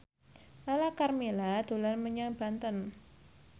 Lala Karmela dolan menyang Banten